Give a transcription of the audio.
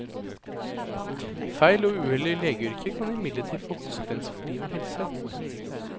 Feil og uhell i legeyrket kan imidlertid få konsekvenser for liv og helse.